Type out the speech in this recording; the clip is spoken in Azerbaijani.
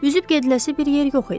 Üzüb gediləsi bir yer yox idi.